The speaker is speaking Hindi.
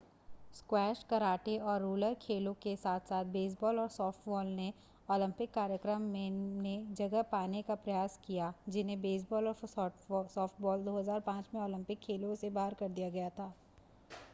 स्क्वैश कराटे और रोलर खेलों के साथ-साथ बेसबॉल और सॉफ्टबॉल ने ओलंपिक कार्यक्रम मेने जगह बनाने का प्रयास किया जिन्हें बेसबॉल और सॉफ्टबॉल 2005 में ओलंपिक खेलों से बाहर कर दिया गया था।